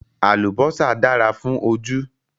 Àlùbọ́sà dára fún ojú